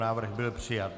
Návrh byl přijat.